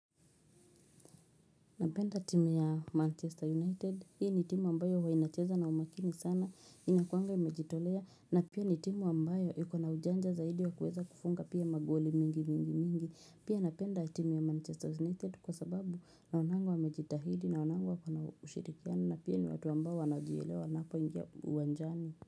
Napenda timu ya Manchester United, hii ni timu ambayo huwa inacheza na umakini sana, inakuwanga imejitolea, na pia ni timu ambayo iko na ujanja zaidi wa kuweza kufunga pia magoli mingi mingi mingi, pia napenda timu ya Manchester United kwa sababu naonanga wamejitahidi naonanga wakona ushirikiana, na pia ni watu ambao wanajielewa wanapo ingia uwanjani.